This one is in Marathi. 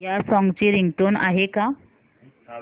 या सॉन्ग ची रिंगटोन आहे का